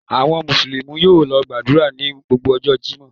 Àwọn Mùsùlùmí yóò lọ gbàdúrà ní gbogbo ọjọ́ Jímọ̀.